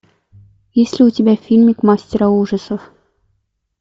есть ли у тебя фильмик мастера ужасов